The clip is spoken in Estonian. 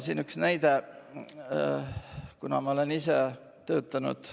Siin on üks näide Goast, kuna ma ise olen seal palju töötanud.